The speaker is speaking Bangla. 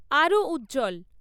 আরও উজ্জ্বল